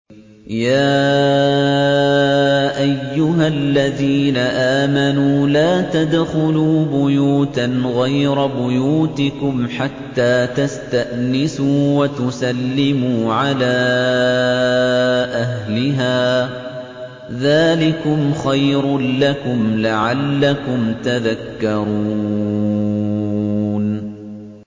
يَا أَيُّهَا الَّذِينَ آمَنُوا لَا تَدْخُلُوا بُيُوتًا غَيْرَ بُيُوتِكُمْ حَتَّىٰ تَسْتَأْنِسُوا وَتُسَلِّمُوا عَلَىٰ أَهْلِهَا ۚ ذَٰلِكُمْ خَيْرٌ لَّكُمْ لَعَلَّكُمْ تَذَكَّرُونَ